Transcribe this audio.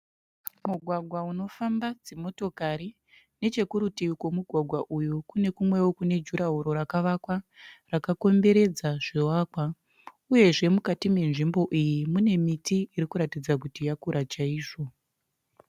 Mugwagwa unofamba dzimotokari. Nechekurutivi kwomugwagwa uyu kune kumweo kune jurahoro rakavakwa rakakomberedza zvivakwa uyezve mukati menzvimbo iyi mune miti irikuratidza kuti yakura chaizvo.